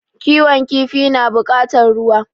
Kiwon kifi na bukatar ruwa